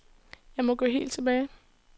Jeg må gå helt tilbage.